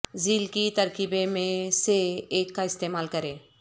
ذیل کی ترکیبیں میں سے ایک کا استعمال کریں